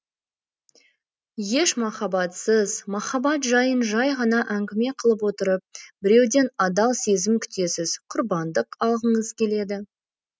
еш махаббатсыз махаббат жайын жай ғана әңгіме қылып отырып біреуден адал сезім күтесіз құрбандық алғыңыз келеді